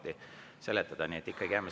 Nii et jääme ikkagi selle eelnõu juurde.